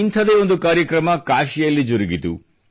ಇಂಥದೇ ಒಂದು ಕಾರ್ಯಕ್ರಮ ಕಾಶಿಯಲ್ಲಿ ಜರುಗಿತು